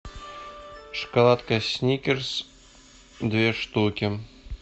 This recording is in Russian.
шоколадка сникерс две штуки